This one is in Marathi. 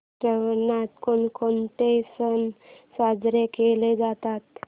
श्रावणात कोणकोणते सण साजरे केले जातात